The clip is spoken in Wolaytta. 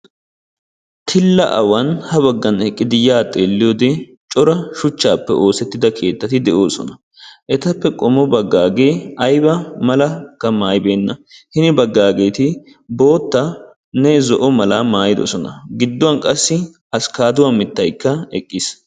tilla awan habagan eqqidi ya baggi xeeliyode cora shuchaappe oosettida keetatti de'oosona. etappe qommo bagaagee ayba malaka maayibeena. hini bagaageeti bootanne zo'o meraa maayidososna. hini bagankka askaaduwaa mitay eqqiis.